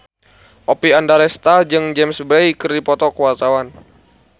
Oppie Andaresta jeung James Bay keur dipoto ku wartawan